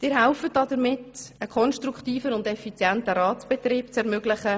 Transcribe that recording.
Sie helfen damit, einen konstruktiven und effizienten Ratsbetrieb zu ermöglichen.